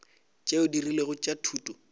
tšeo di rilego tša thuto